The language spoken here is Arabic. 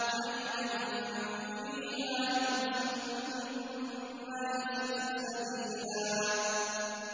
عَيْنًا فِيهَا تُسَمَّىٰ سَلْسَبِيلًا